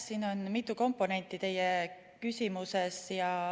Siin on mitu komponenti teie küsimuses.